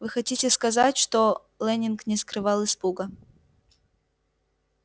вы хотите сказать что лэннинг не скрывал испуга